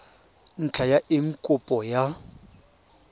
ntlha ya eng kopo ya